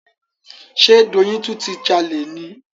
Ṣe Doyin tún ti jalè ni?